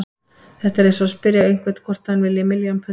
Þetta er eins og að spyrja einhvern hvort hann vilji milljón punda.